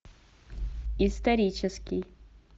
исторический